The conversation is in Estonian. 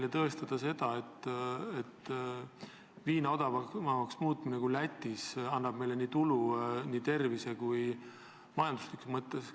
Täna te üritate meile tõestada, et viina Läti omast odavamaks muutmine annab meile tulu nii tervise kui majanduslikus mõttes.